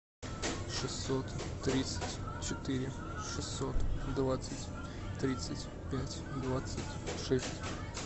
шестьсот тридцать четыре шестьсот двадцать тридцать пять двадцать шесть